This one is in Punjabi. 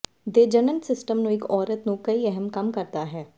ਦੇ ਜਣਨ ਸਿਸਟਮ ਨੂੰ ਇੱਕ ਔਰਤ ਨੂੰ ਕਈ ਅਹਿਮ ਕੰਮ ਕਰਦਾ ਹੈ